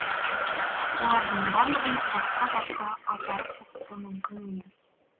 олардың барлығын басқа жаққа апарып оқыту мүмкін емес